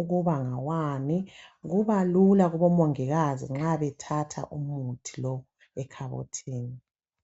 ukuba ngawani kuba lula kobo mongikazi nxa bethatha umuthi lowo ekhabothini.